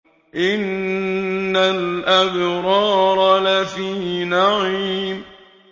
إِنَّ الْأَبْرَارَ لَفِي نَعِيمٍ